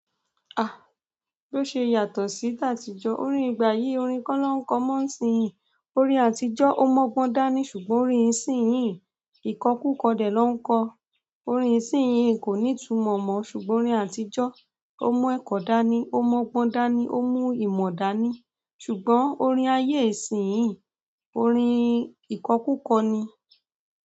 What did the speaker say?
Bi o ṣe yàtọ̀ si tatijọ, orin ìgbà yi, orin kọ na n kọ mọ nisin yi, orin àtijọ́ o mọgbọ́n dani ṣùgbọ́n orin isin yi, ikọkukọ dẹ na n kọ. Orin ìsìn yìí kò ní ìtumọ̀ mọ́ ṣùgbọ́n orin àtijọ́, ó mú ẹ̀kọ́ dání, ó mọ́gbọ́n dání, ó mú ìmọ̀ dání. Ṣùgbọ́n orin aye isin yi, orin ikọkukọ ni.